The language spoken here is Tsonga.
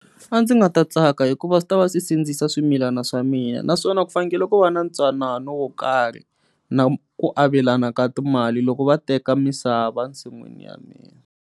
A ndzi nga ta tsaka hikuva swi ta va swi sindzisa swimilana swa mina naswona ku fanekele ku va na ntwanano wo karhi na ku avelana ka timali loko va teka misava ensin'wini ya mina.